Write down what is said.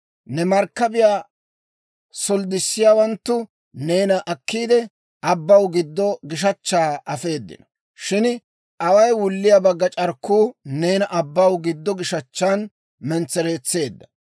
Ne markkabiyaa solddissiyaawanttu neena akkiide, abbaw giddo gishachchaa afeedino; shin away wulliyaa bagga c'arkkuu neena abbaw giddo gishechchan mentsereetseedda.